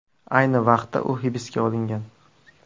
Ayni vaqtda u hibsga olingan.